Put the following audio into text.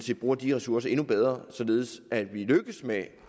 vi bruger de ressourcer endnu bedre således at vi lykkes med